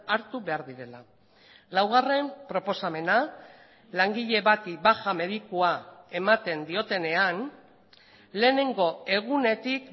hartu behar direla laugarren proposamena langile bati baja medikua ematen diotenean lehenengo egunetik